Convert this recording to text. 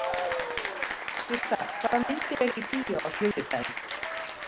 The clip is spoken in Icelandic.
Systa, hvaða myndir eru í bíó á þriðjudaginn?